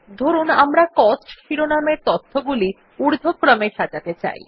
ধরুন আমরা কোস্টস শিরোনামের তথ্যগুলি ঊর্ধ্বক্রমে সাজাতে চাই